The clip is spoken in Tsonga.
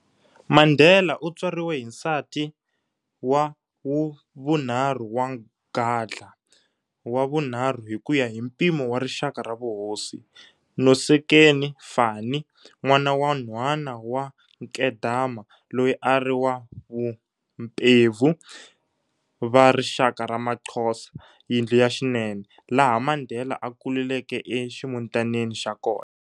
Mandela u tswariwe hi nsati wa wa vunharhu wa Gadla, 'Wa vunharhu' hi kuya hi mpimo wa rixaka ra vuhosi, Nosekeni Fanny, nwana wa nhwana wa Nkedama loyi a a ri wa vaMpemvu va rixaka ra ma Xhosa, Yindlu ya xinene, laha Mandela a kuleleke e ximutanini xa kona.